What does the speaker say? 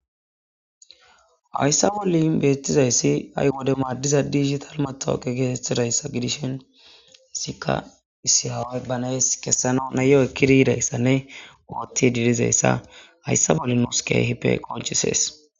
hayssa bolli ibeettizayssi ay wode maaddiza diigital ma tooqe geesetthidayssa gidishin hissikka issi haway banayes kessano nayo ekkidi yidayssanne ootti didizayssa hayssa bolli nuskeehipe qonchisees